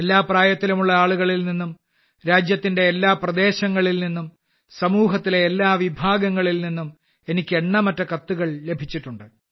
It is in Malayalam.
എല്ലാ പ്രായത്തിലുമുള്ള ആളുകളിൽ നിന്നും രാജ്യത്തിന്റെ എല്ലാ പ്രദേശങ്ങളിൽ നിന്നും സമൂഹത്തിലെ എല്ലാ വിഭാഗങ്ങളിൽ നിന്നും എനിക്ക് എണ്ണമറ്റ കത്തുകൾ ലഭിച്ചിട്ടുണ്ട്